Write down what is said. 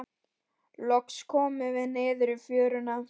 Loks komum við niður í fjöruna.